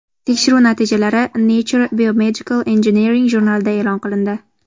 Tekshiruv natijalari Nature Biomedical Engineering jurnalida e’lon qilindi .